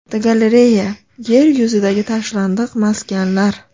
Fotogalereya: Yer yuzidagi tashlandiq maskanlar.